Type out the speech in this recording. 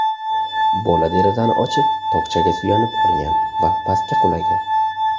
Bola derazani ochib, tokchaga suyanib olgan va pastga qulagan.